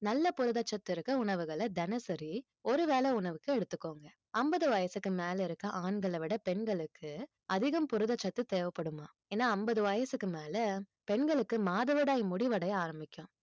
நல்ல புரதச் சத்து இருக்கிற உணவுகளை தினசரி ஒருவேளை உணவுக்கு எடுத்துக்கோங்க ஐம்பது வயசுக்கு மேல இருக்க ஆண்களை விட பெண்களுக்கு அதிகம் புரதச்சத்து தேவைப்படுமாம் ஏன்னா ஐம்பது வயசுக்கு மேல பெண்களுக்கு மாதவிடாய் முடிவடைய ஆரம்பிக்கும்